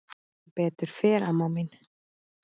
Sem betur fer amma mín.